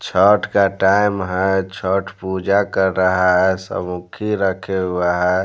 छठ का टाइम है छठ पूजा कर रहा है सब मुखी रखे हुआ है।